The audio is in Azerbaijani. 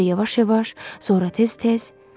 Əvvəlcə yavaş-yavaş, sonra tez-tez.